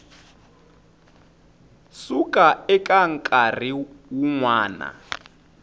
suka eka nkarhi wun wana